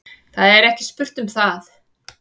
Það er ekki spurt um það.